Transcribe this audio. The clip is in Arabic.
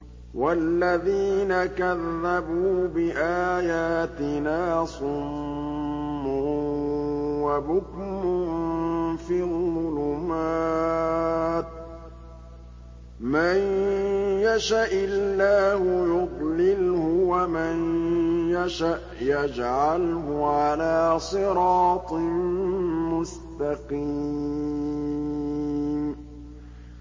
وَالَّذِينَ كَذَّبُوا بِآيَاتِنَا صُمٌّ وَبُكْمٌ فِي الظُّلُمَاتِ ۗ مَن يَشَإِ اللَّهُ يُضْلِلْهُ وَمَن يَشَأْ يَجْعَلْهُ عَلَىٰ صِرَاطٍ مُّسْتَقِيمٍ